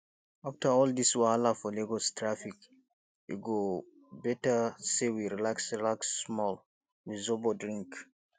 after all dis wahala for lagos traffic e go better sey we relax relax small with zobo drink